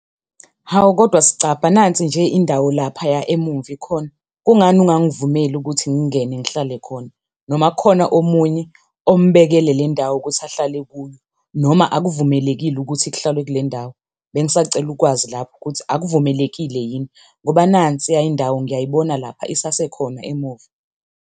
Hawu, kodwa sicabha nansi nje indawo laphaya emumva ikhona, kungani ungangivumeli ukuthi ngingene ngihlale khona? Noma kukhona omunye ombekele le ndawo ukuthi ahlale kuyo, noma akuvumelekile ukuthi kuhlalwe kule ndawo? Bengisacela ukwazi lapho ukuthi akuvumelekile yini ngoba nansi indawo ngiyayibona lapha isasekhona emuva.